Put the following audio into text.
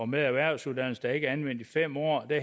med erhvervsuddannelse der ikke er anvendt i fem år vi